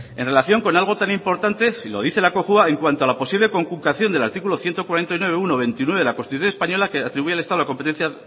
en relación con algo tan importante y lo dice la cojua en cuanto a la posible conculcación del artículo ciento cuarenta y nueve punto uno punto veintinueve de la constitución española que atribuye al estado la competencia